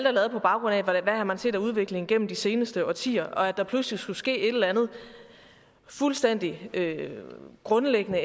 er lavet på baggrund af hvad man har set af udvikling gennem de seneste årtier og at der pludselig skulle ske et eller andet fuldstændig grundlæggende